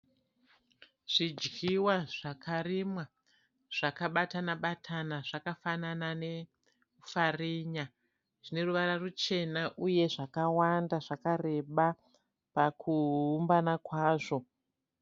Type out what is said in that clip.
Zvidyiwa zvakarimwa zvakabatana batana zvakafanana nepfarinya zvine ruvara ruchena uye zvakawanda zvakareba pakuumbana kwazvo.